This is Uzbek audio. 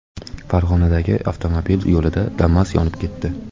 Farg‘onadagi avtomobil yo‘lida Damas yonib ketdi .